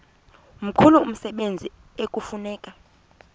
mkhulu umsebenzi ekufuneka